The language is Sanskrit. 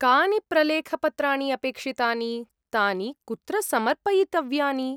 कानि प्रलेखपत्राणि अपेक्षितानि, तानि कुत्र समर्पयितव्यानि?